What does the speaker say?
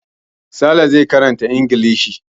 Sale zai karanta Ingilishi.